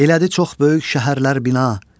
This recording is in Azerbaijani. elədi çox böyük şəhərlər bina.